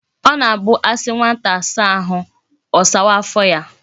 O na abu asi nwata sawa ahu,o sawaa afo ya